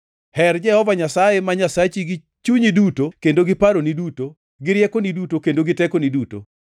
Her Jehova Nyasaye ma Nyasachi gi chunyi duto kendo gi paroni duto, gi riekoni duto, kendo gi tekoni duto.’ + 12:30 \+xt Rap 6:4,5\+xt*